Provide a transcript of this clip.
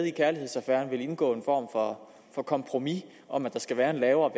i kærlighedsaffæren vil indgå en form for kompromis om at der skal være en lavere